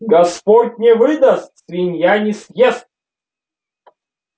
господь не выдаст свинья не съест